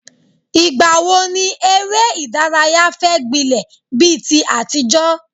Ìgbà wo ni eré ìdárayá fẹ́ gbilẹ̀ bí ti àtijọ́?